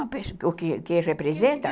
O que que representa?